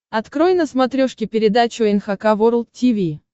открой на смотрешке передачу эн эйч кей волд ти ви